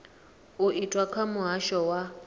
u itwa kha muhasho wa